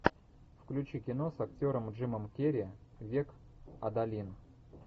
включи кино с актером джимом керри век адалин